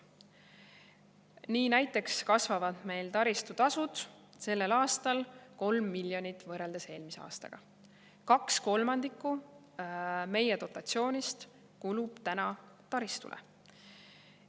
Nii näiteks kasvavad meil taristutasud sellel aastal 3 miljoni euro võrra, võrreldes eelmise aastaga, kaks kolmandikku meie dotatsioonist kulub taristule.